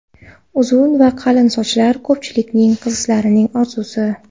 Uzun va qalin sochlar ko‘pchilik qizlarning orzusi.